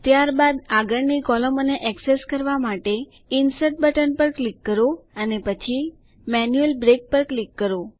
ત્યારબાદ આગળની કૉલમોને એક્સેસ કરવા માટે ઇન્સર્ટ બટન પર ક્લિક કરો અને પછી મેન્યુઅલ બ્રેક પર ક્લિક કરો